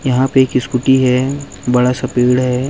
यहाँ पे एक स्कूटी है बड़ा सा पेड़ है।